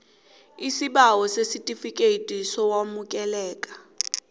isibawo sesitifikethi sokwamukeleka